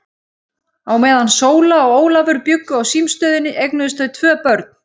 Á meðan Sóla og Ólafur bjuggu á símstöðinni eignuðust þau tvö börn.